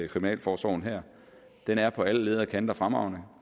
kriminalforsorgen den er på alle ledder og kanter fremragende